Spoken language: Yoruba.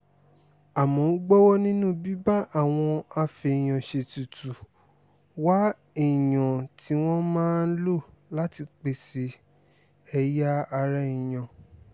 àmọ́ ó gbowó nínú bíbá àwọn afèèyàn-ṣètùtù wá èèyàn tí wọ́n máa lò láti pèsè ẹ̀yà ara èèyàn